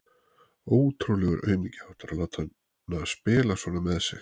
Ótrúlegur aumingjaháttur að láta hana spila svona með sig.